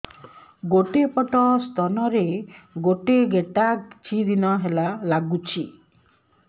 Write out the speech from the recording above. ଗୋଟେ ପଟ ସ୍ତନ ରେ ଗୋଟେ ଗେଟା କିଛି ଦିନ ହେଲା ଲାଗୁଛି